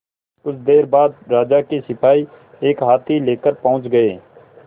कुछ देर बाद राजा के सिपाही एक हाथी लेकर पहुंच गए